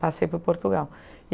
Passei por Portugal.